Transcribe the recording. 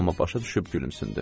Amma başa düşüb gülümsündü.